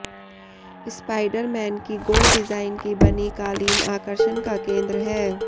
Spiderman की गोल design की बनी कालीन आकर्षण का केंद्र है